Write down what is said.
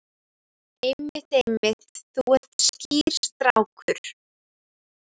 Einmitt, einmitt, þú ert skýr strákur.